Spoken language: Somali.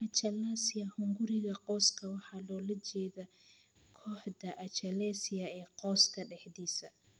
Achalasia hunguriga qoyska waxaa loola jeedaa kooxda achalasia ee qoyska dhexdiisa.